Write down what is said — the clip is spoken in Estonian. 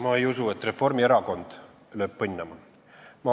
Ma ei usu, et Reformierakond lööb põnnama.